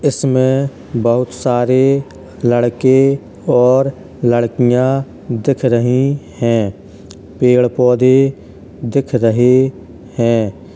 इसमें बहुत सारे लड़के और लड़कियाँ दिख रही हैं। पेड़ पौधे दिख रहे हैं।